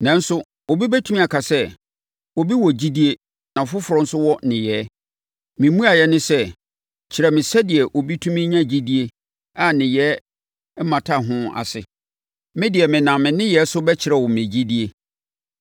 Nanso, obi bɛtumi aka sɛ, “Obi wɔ gyidie na afoforɔ nso wɔ nneyɛeɛ.” Me mmuaeɛ ne sɛ, “Kyerɛ me sɛdeɛ obi tumi nya gyidie a nneyɛeɛ mmata ho ase. Me deɛ menam me nneyɛeɛ so bɛkyerɛ wo me gyidie.”